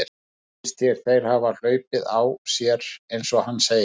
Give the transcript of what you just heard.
Finnst þér þeir hafa hlaupið á sér eins og hann segir?